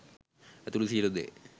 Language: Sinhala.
ඇතුළු සියලු දේ